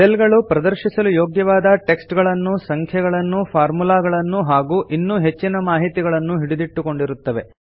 cell ಗಳು ಪ್ರದರ್ಶಿಸಲು ಯೋಗ್ಯವಾದ ಟೆಕ್ಸ್ಟ್ ಗಳನ್ನು ಸಂಖ್ಯೆಗಳನ್ನು ಫಾರ್ಮುಲಾಗಳನ್ನು ಹಾಗೂ ಇನ್ನೂ ಹೆಚ್ಚಿನ ಮಾಹಿತಿಗಳನ್ನು ಹಿಡಿದಿಟ್ಟುಕೊಂಡಿರುತ್ತವೆ